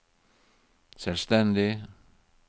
selvstendig